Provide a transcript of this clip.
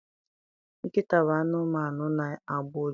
Nkịta bụ anụmanụ na-agbọ ụja.